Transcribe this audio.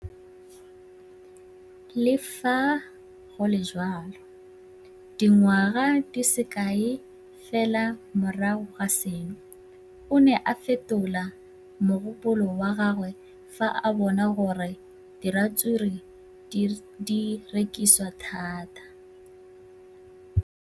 Le fa go le jalo, dingwaga di se kae fela morago ga seno, o ne a fetola mogopolo wa gagwe fa a bona gore diratsuru di rekisiwa thata.